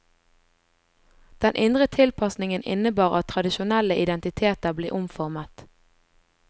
Den indre tilpasningen innebar at tradisjonelle identiteter ble omformet.